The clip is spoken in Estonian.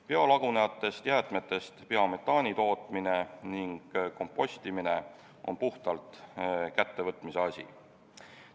Biolagunevatest jäätmetest biometaani tootmine ning kompostimine on puhtalt kättevõtmise asi.